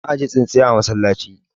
ana ajiye tsintsiya a masallaci